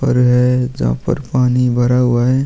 पर हैं जहां पर पानी भरा हुआ हैं।